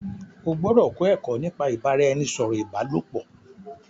O gbọdọ kọ ẹkọ nípa ibaraẹnisọrọ ibalopo!